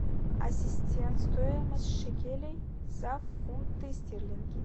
ассистент стоимость шекелей за фунты стерлинги